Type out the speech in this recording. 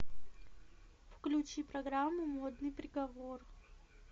включи программу модный приговор